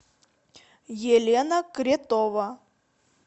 елена кретова